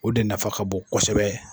O de nafa ka bon kɔsɛbɛ.